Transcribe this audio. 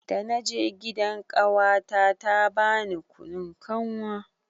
Dana je gidan ƙawata ta bani kunun kanwa.